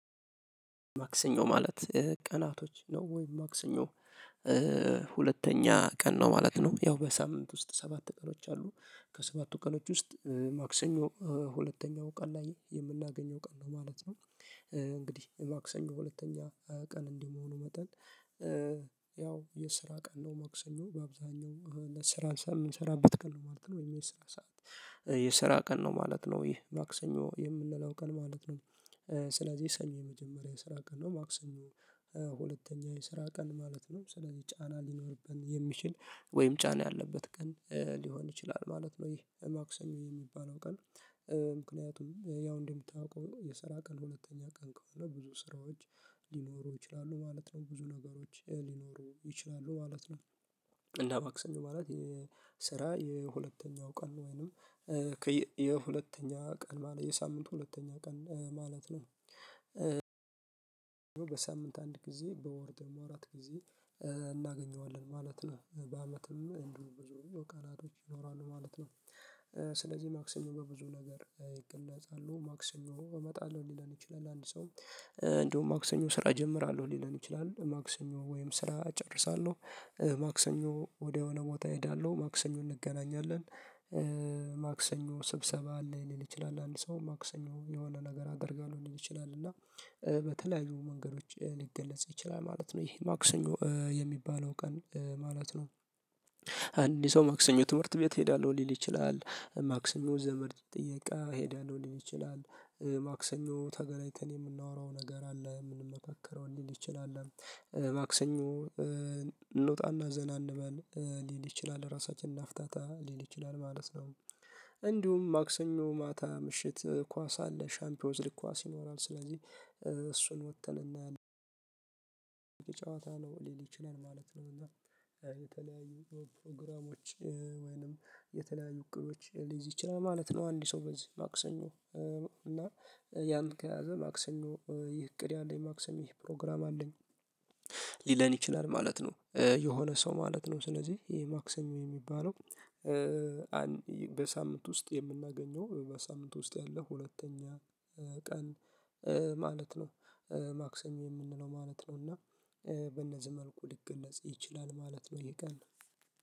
ማክሰኞ ማለት ቀናቶች ነው ወይ? ማክሰኞ ሁለተኛ ቀን ነው ማለት ነው ያው በሳምንት ውስጥ ሰባት ቀኖች አሉ ከሰባቱ ቀኖች ውስጥ ማክሰኞ ሁለተኛው ቀን ላይ የምናገኘው ቀን ነው ማለት ነው። እንግዲህ የማክሰኞ ሁለተኛ ቀን እንደመሆኑ መጠን ያው የስራ ቀን ነው ማክሰኞነው በአብዛኛው ለስራ የምንሰራበት ቀን ነው ማለት ነው የስራ ሰዓት የስራ ቀን ነው ማለት ነው ይህ ማክሰኞ የምንለው ቀን ማለት ነው። ስለዚህ ሰኞ የመጀመሪያ የስራ ቀን ነው ማክሰኞ ሁለተኛ የስራ ቀን ማለት ነው ስለዚህ ጫና ሊኖርብን የሚችል ወይም ጫና ያለበት ቀን ሊሆን ይችላል ማለት ነው ይሄ ማክሰኞ የሚባለው ቀን። ምክንያቱም ያው እንደምታውቀው የሰራ ቀን ሁለተኛ ቀን ከሆነ ብዙ ስራዎች ሊኖሩ ይችላሉ ማለት ነው ብዙ ነገሮች ሊኖሩ ይችላሉ ማለት ነው። እና ማክሰኞ ማለት የስራ የሁለተኛው ቀን ወይንም የሁለተኛ ቀን ማለት የሳምንቱ ሁለተኛ ቀን ማለት ነው። በሳምንት አንድ ጊዜ በወር ደግሞ አራት ጊዜ እናገኘዋለን ማለት ነው በአመትም እንዲሁ ብዙ ቀናቶች ይኖራሉ ማለት ነው። ስለዚህ ማክሰኞ በብዙ ነገር ይገለጻሉ ማክሰኞ እመጣለሁ ሊለን ይችላል አንድ ሰው እንደውም ማክሰኞ ስራ እጀምራለሁ ሊለን ይችላል ማክሰኞ ወይም ስራ እጨርሳለሁ ማክሰኞ ወደሆነ ቦታ እሄዳለሁ ማክሰኞ እንገናኛለን ማክሰኞ ስብሰባ አለ ሊል ይችላል አንድ ሰው ማክሰኞ የሆነ ነገር አደርጋለሁ ሊል ይችላል እና በተለያዩ መንገዶች ሊገለጽ ይችላል ማለት ነው ይሄ ማክሰኞ የሚባለው ቀን ማለት ነው። አንድ ሰው ማክሰኞ ትምህርት ቤት ሄዳለሁ ሊል ይችላል ማክሰኞ ዘመድ ጥየቃ እሄዳለሁ ሊል ይችላል ማክሰኞ ተገላይተን የምናወራው ነገር አለ የምንመካከረው ሊል ይችላል ማክሰኞ እንውጣና ዘና እንበል ሊል ይችላል ራሳችንን እናፍታታ ሊል ይችላል ማለት ነው። እንዲሁም ማክሰኞ ማታ ምሽት ኳስ አለ ሻምፒዮንስ ሊግ ኳስ ይኖራል ስለዚህ እሱን ወጥተን እና ጨዋታ ነው ሊል ይችላል ማለት ነው እና የተለያዩ ፕሮግራሞች ወይንም የተለያዩ እቅዶች ሊይዝ ይችላል ማለት ነው። አንድ ሰው በዚህ ማክሰኞ እና ያን ከያዘ ማክሰም ነው ይህ እቅድ ያለኝ ማክሰም ይህ ፕሮግራም አለኝ ሊለን ይችላል ማለት ነው። የሆነ ሰው ማለት ነው ስለዚህ ይሄ ማክሰኞ የሚባለው በሳምንት ውስጥ የምናገኘው በሳምንት ውስጥ ያለ ሁለተኛ ቀን ማለት ነው። ማክሰኞ የምንለው ማለት ነው እና በእነዚህ መልኩ ሊገለጽ ይችላል ማለት ነው። የቀን